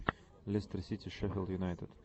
лестер сити шеффилд юнайтед